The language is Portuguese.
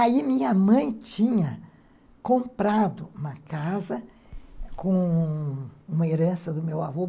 Aí minha mãe tinha comprado uma casa com uma herança do meu avô.